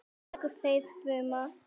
Að lokum deyr fruman.